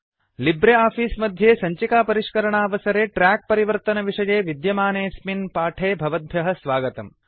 Libre office मध्ये सञ्चिकापरिष्करणावसरे track परिवर्तनविषये विद्यमानेऽस्मिन् पाठे भवद्भ्यः स्वागतम्